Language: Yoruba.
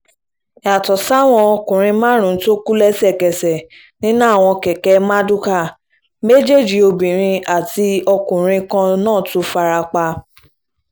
yàtọ̀ sáwọn ọkùnrin márùn-ún tó kú lẹ́sẹ̀kẹsẹ̀ nínú àwọn kẹ̀kẹ́ mardukà méjèèjì obìnrin àti ọkùnrin kan náà tún fara pa